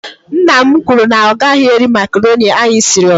Nna m kwuru na ọ gaghị eri makroni anyị siri.